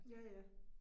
Ja ja